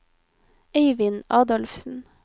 Eivind Adolfsen